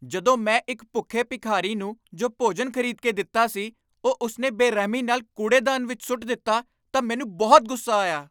ਜਦੋਂ ਮੈਂ ਇੱਕ ਭੁੱਖੇ ਭਿਖਾਰੀ ਨੂੰ ਜੋ ਭੋਜਨ ਖ਼ਰੀਦ ਕੇ ਦਿੱਤਾ ਸੀ, ਉਹ ਉਸ ਨੇ ਬੇਰਹਿਮੀ ਨਾਲ ਕੂੜੇਦਾਨ ਵਿੱਚ ਸੁੱਟ ਦਿੱਤਾ ਤਾਂ ਮੈਨੂੰ ਬਹੁਤ ਗੁੱਸਾ ਆਇਆ।